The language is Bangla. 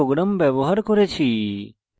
স্যাম্পল programs ব্যবহার করেছি